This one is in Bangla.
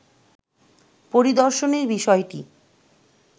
পরিদর্শনের বিষয়টি